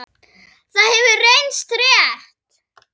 Það hefur reynst rétt.